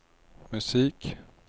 musik